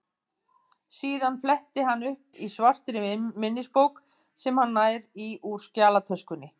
Síðan flettir hann upp í svartri minnisbók sem hann nær í úr skjalatöskunni.